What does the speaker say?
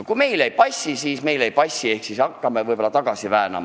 Ja kui meile ei passi, siis meile ei passi ja ehk hakkame seda tagasi väänama.